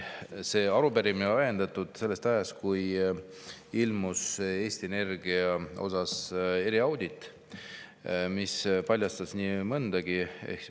See arupärimine on ajendatud sellest, et Eesti Energia kohta tehtud eriaudit, mis paljastas nii mõndagi.